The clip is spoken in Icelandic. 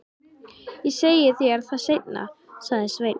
Ég segi þér það seinna, sagði Sveinn.